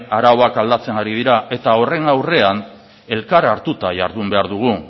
arauak aldatzen ari dira eta horren aurrean elkar hartuta jardun behar dugu